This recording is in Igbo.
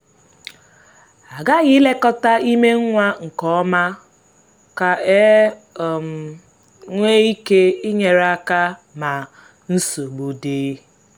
a ghaghị ilekọta ime nwa nke ọma ka e um nwee ike inyere aka ma nsogbu pụta.